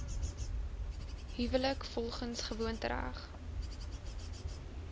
huwelik volgens gewoontereg